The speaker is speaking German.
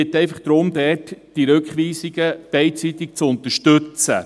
Ich bitte einfach darum, die Rückweisungen beidseitig zu unterstützen.